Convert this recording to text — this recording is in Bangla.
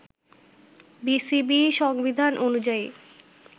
বিসিবি সংবিধান অনুযায়ী